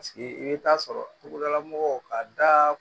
i bɛ taa sɔrɔ togodala mɔgɔw ka da